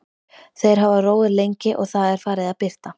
Þeir hafa róið lengi og Það er farið að birta.